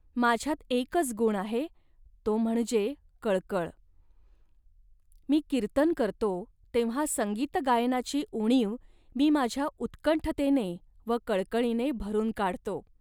माझ्यात एकच गुण आहे, तो म्हणजे कळकळ. मी कीर्तन करतो, तेव्हा संगीतगायनाची उणीव मी माझ्या उत्कंठतेने व कळकळीने भरून काढतो